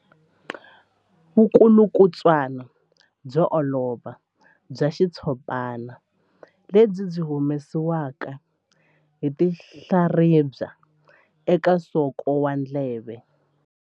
Vulukulutswana byo olova bya xitshopana lebyi byi humesiwaka hi tinhlaribya eka nsoko wa ndleve.